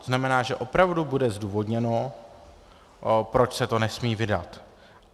To znamená, že opravdu bude zdůvodněno, proč se to nesmí vydat.